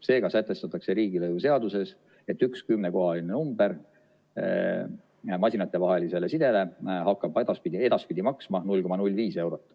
Seega sätestatakse riigilõivuseaduses, et üks kümnekohaline number masinatevahelisele sidele hakkab edaspidi maksma 0,05 eurot.